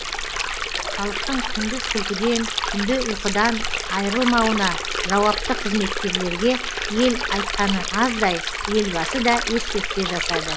халықтың күндіз күлкіден түнде ұйқыдан айрылмауына жауапты қызметкерлерге ел айтқаны аздай елбасы да ескертпе жасады